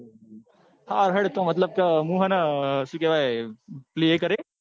હારું હેડ મતલબ કે મુ હ ન સુ કેવાય પેલું એ કરે ન.